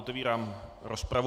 Otevírám rozpravu.